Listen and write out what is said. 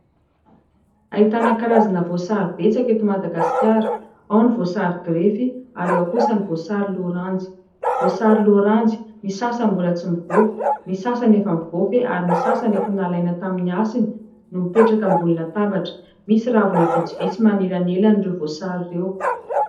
Ahitana karazana voasary betsaka eto Madagasikara. Ao ny voasary grefy, ary ao kosa ny voasary loranjy. Voasary loranjy : ny sasany mbola tsy mivaofy, ny sasany efa mivaofy ary ny sasany efa nalaina tamin'ny hasiny ; no mipetraka ambonina tabatra. Misy ravina vitsivitsy manelanelana ireo voasary ireo.